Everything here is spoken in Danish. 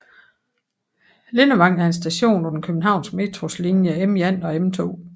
Lindevang er en station på den københavnske Metros linje M1 og M2